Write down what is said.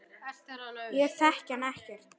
Ég þekki hann ekkert.